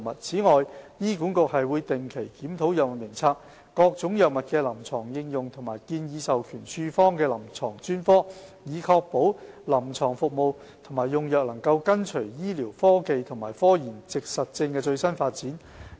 此外，醫管局會定期檢討藥物名冊、各種藥物的臨床應用和建議授權處方的臨床專科，以確保臨床服務和用藥能跟隨醫療科技和科研實證的最新發展。